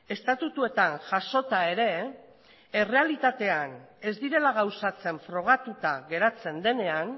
estatutuetan jasota ere errealitatean ez direla gauzatzen frogatuta geratzen denean